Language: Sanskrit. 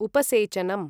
उपसेेचनम्